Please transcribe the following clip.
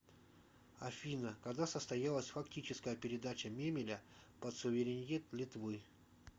афина когда состоялась фактическая передача мемеля под суверенитет литвы